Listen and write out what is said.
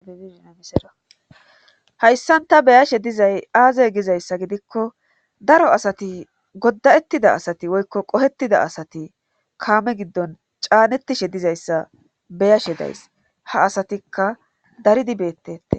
hayssan ta beyashe dizay aaze gizayssa gidikko daro asati godda7ettida asati woykko qohettida asati kaame giddon caanettishe dizayssa beyashe days ha asatikka daridi beettetes